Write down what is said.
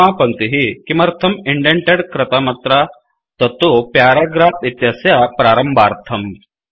प्रथमा पङ्क्तिः किमर्थं इंडेण्टेड् कृतमत्र तत्तु प्याराग्राफ् इत्यस्य प्रारम्भार्थम्